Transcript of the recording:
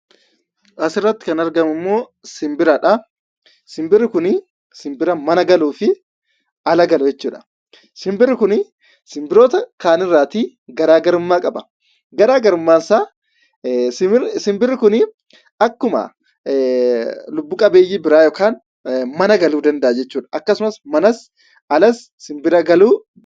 Asirratti kan argamu immoo simbira dha. Simbirri kun simbira mana galuufi ala galu jechuudha. Simbirri kun simbirroota kaan irraa garaagarummaa qaba. Garaagarumaan isaa simbirri kun akkuma lubbu-qabeeyyii biraa mana galuu danda'a jechuudha. Akkasumas manas, alas simbira galuu dha.